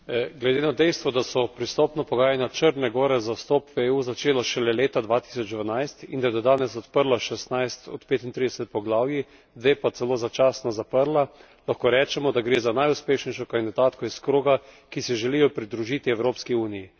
Glede na dejstvo, da so pristopna pogajanja Črne gore za vstop v EU začela šele leta 2012 in da je do danes odprla šestnajst od petintrideset poglavij, dve pa celo začasno zaprla, lahko rečemo, da gre za najuspešnejšo kandidatko iz kroga, ki se želijo pridružiti Evropski uniji.